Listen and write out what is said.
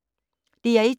DR1